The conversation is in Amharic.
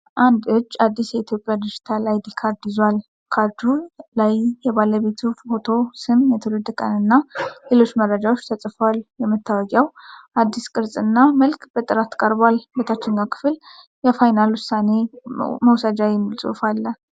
አንድ እጅ አዲስ የኢትዮጵያ ዲጂታል አይዲ ካርድ ይዟል። ካርዱ ላይ የባለቤቱ ፎቶ፣ ስም፣ የትውልድ ቀን እና ሌሎች መረጃዎች ተጽፈዋል። የመታወቂያው አዲስ ቅርጽ እና መልክ በጥራት ቀርቧል። በታችኛው ክፍል “የፋይናል ውሳኔ መውሰጃ” የሚል ጽሑፍ አለ።